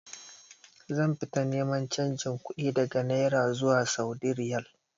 Zan fita neman canji kuɗi daga naira zuwa saudi riyal